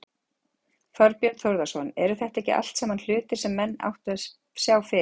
Þorbjörn Þórðarson: Eru þetta ekki allt saman hlutir sem menn áttu að sjá fyrir?